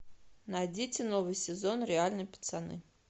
найдите новый сезон реальные пацаны